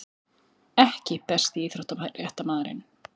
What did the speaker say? EKKI besti íþróttafréttamaðurinn??